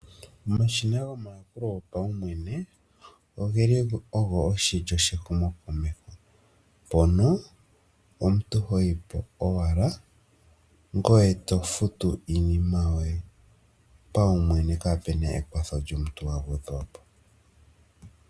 Omashina gomayakulo gopaumwene ogeli ogo oshilyo shehumo komeho mpono omuntu hoyipo owala ngoye tofutu iinima yoye paumwene kaapuna ekwatho lyomuntu agwedhwapo.